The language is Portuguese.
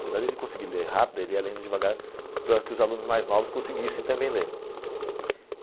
Apesar dele conseguir ler rápido, ele ia lendo devagar para que os alunos mais novos conseguissem também ler.